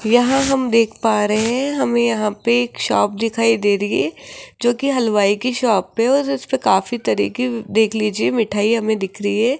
यहां हम देख पा रहे हैं हम यहां पर एक शॉप दिखाई दे रही है जोकि हलवाई की शॉप पर उसपे काफी तरीके देख लीजिए मिठाई हमें दिख रही है।